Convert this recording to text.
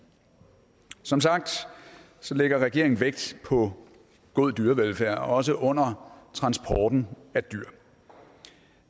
som sagt lægger regeringen vægt på god dyrevelfærd også under transporten af dyr